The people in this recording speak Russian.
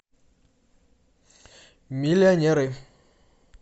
миллионеры